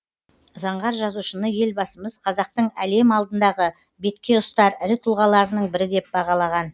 заңғар жазушыны елбасымыз қазақтың әлем алдындағы беткеұстар ірі тұлғаларының бірі деп бағалаған